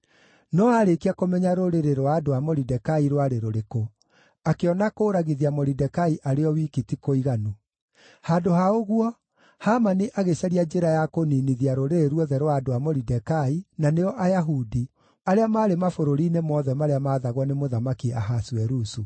No aarĩkia kũmenya rũrĩrĩ rwa andũ a Moridekai rwarĩ rũrĩkũ, akĩona kũũragithia Moridekai arĩ o wiki ti kũiganu. Handũ ha ũguo, Hamani agĩcaria njĩra ya kũniinithia rũrĩrĩ ruothe rwa andũ a Moridekai, na nĩo Ayahudi, arĩa maarĩ mabũrũri-inĩ mothe marĩa maathagwo nĩ Mũthamaki Ahasuerusu.